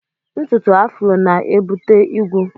Ntùtù afrọ na e bute igwu.